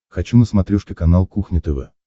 хочу на смотрешке канал кухня тв